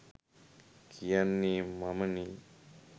කියන්නේ මමනේ.